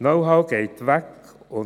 Knowhow geht weg und